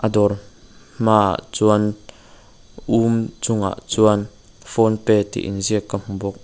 a dawr hmaah chuan um chungah chuan phonepe tih inziak ka hmu bawk.